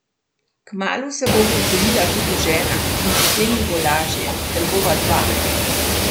Kmalu se bo upokojila tudi žena in potem mi bo lažje, ker bova dva.